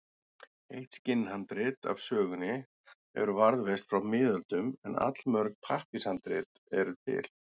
Eitt skinnhandrit af sögunni hefur varðveist frá miðöldum en allmörg pappírshandrit eru til.